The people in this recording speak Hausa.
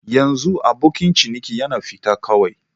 Yanxu abokin ciniki ya fita kawai.